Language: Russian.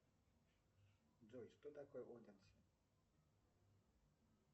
джой что такое оденсе